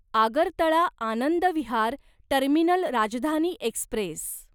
Agartala Anand Vihar terminal Rajdhani Express